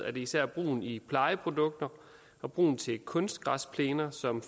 er det især brugen i plejeprodukter og brugen til kunstgræsplæner som